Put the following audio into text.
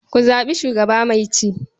Ku zaɓi shugaba mai ci.